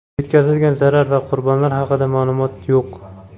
Yetkazilgan zarar va qurbonlar haqida ma’lumot yo‘q.